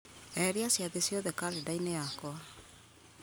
eheria ciathĩ ciothe karenda-inĩ yakwa